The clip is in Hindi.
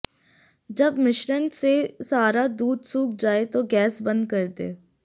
जब मिश्रण से सारा दूध सूख जाए तो गैस बंद कर दें